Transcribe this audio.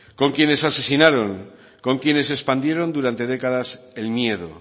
con quienes asesinaron con quienes expandieron durante décadas el miedo